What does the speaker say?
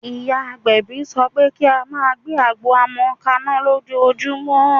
Ìyá agbẹ̀bí sọ pé kí á máa gbé àgbo ọmọ kaná lójoojúmọ́.